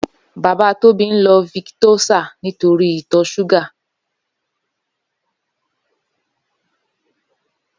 Baba Tobi n ló viktósá nitóri itọ ṣúgà